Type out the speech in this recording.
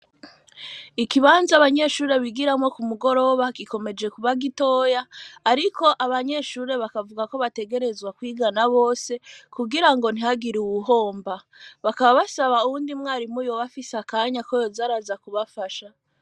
Ikibanza abanyeshure bigiramwo ku mugoroba gikomeje kubagitoya, ariko abanyeshure bakavuga ko bategerezwa kwigana bose kugira ngo ntihagira uwuhomba bakaba basaba uwundi mwarimu yobafise akanya ko yoza araza kubafasha.